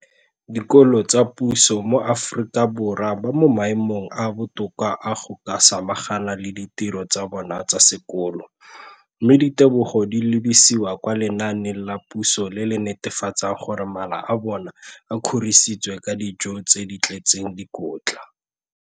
Dikolo tsa puso mo Aforika Borwa ba mo maemong a a botoka a go ka samagana le ditiro tsa bona tsa sekolo, mme ditebogo di lebisiwa kwa lenaaneng la puso le le netefatsang gore mala a bona a kgorisitswe ka dijo tse di tletseng dikotla.